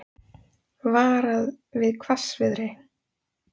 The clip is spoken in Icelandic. Varað við hvassviðri